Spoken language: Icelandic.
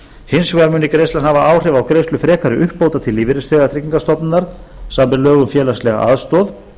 hins vegar muni greiðslan hafa áhrif á greiðslur frekari uppbóta til lífeyrisþega tryggingastofnunar samkvæmt níundu grein laga um félagslega aðstoð